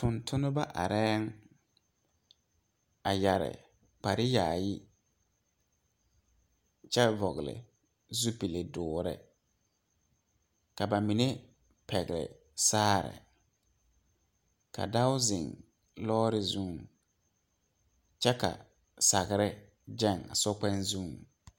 Tontonba are a yere kpare yaayi kyɛ vɔgle zupele dɔɔre ka ba mine pegle saagre ka dɔɔo zeŋ lɔre zuŋ kyɛ ka sagre geŋ a sokpɛŋ zuŋ.